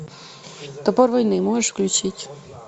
топор войны можешь включить